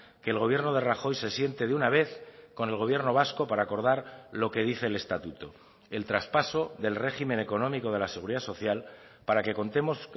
que el gobierno de rajoy se siente de una vez con el gobierno vasco para acordar lo que dice el estatuto el traspaso del régimen económico de la seguridad social para que contemos